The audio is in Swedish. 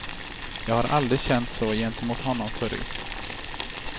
Jag har aldrig känt så gentemot honom förut.